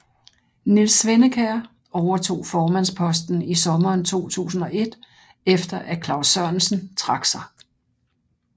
Niels Svennekjær overtog formandsposten i sommeren 2001 efter at Claus Sørensen trak sig